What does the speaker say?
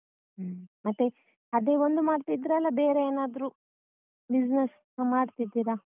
ಹ್ಮ್ ಮತ್ತೆ ಅದೇ ಒಂದು ಮಾಡ್ತಿದ್ರ ಅಲ್ಲ ಬೇರೆ ಏನಾದ್ರೂ business ಮಾಡ್ತಿದ್ದೀರಾ?